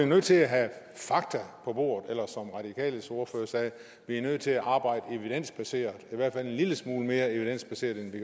nødt til at have fakta på bordet eller som radikales ordfører sagde er vi nødt til at arbejde evidensbaseret i hvert fald en lille smule mere evidensbaseret end vi